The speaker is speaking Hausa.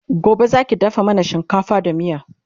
Gobe Zaki dafa mana shinkafa da miya?